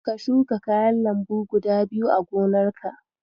Ka shuka kayan lambu guda biyu a gonarka.